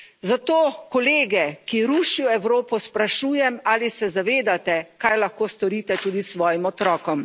Zato kolege, ki rušijo Evropo, sprašujem, ali se zavedate, kaj lahko storite tudi svojim otrokom.